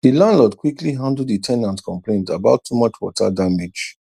the landlord quickly handle the ten ant complaint about too much water damage